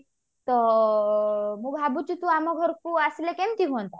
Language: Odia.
ତ ମୁଁ ଭାବୁଛି ତୁ ଆମ ଘରକୁ ଆସିଲେ କେମତି ହୁଅନ୍ତା